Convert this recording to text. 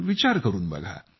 विचार करून बघा